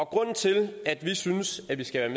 grunden til at vi synes at vi skal